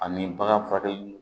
Ani bagan furakɛli